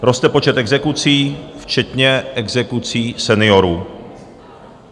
Roste počet exekucí, včetně exekucí seniorů.